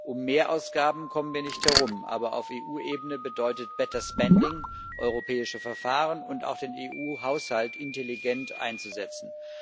Um Mehrausgaben kommen wir nicht herum, aber auf EU Ebene bedeutet better spending europäische Verfahren und auch den EU Haushalt intelligent einzusetzen.